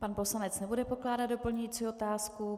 Pan poslanec nebude pokládat doplňující otázku.